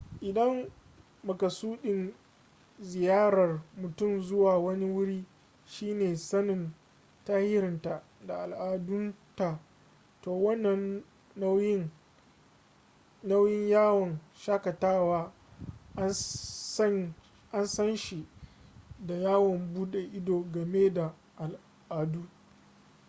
idan makasudin ziyarar mutum zuwa wani wuri shi ne sanin tarihinta da al'adunta to wannan nau'in yawon shakatawa an san shi da yawon bude ido game da al'adu